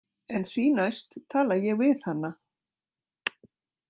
En því næst tala ég við hana.